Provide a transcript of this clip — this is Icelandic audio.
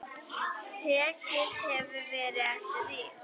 Tekið hefði verið eftir því.